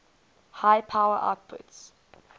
high power outputs